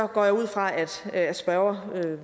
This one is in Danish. går jeg ud fra at spørgeren da